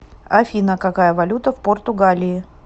афина какая валюта в португалии